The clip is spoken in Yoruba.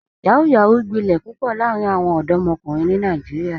Yahoo yahoo gbilẹ̀ pupọ̀ laarin awọn ọdọmọkunrin ni Nàìjíríà.